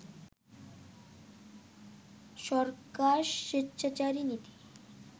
সরকার স্বেচ্ছাচারী নীতি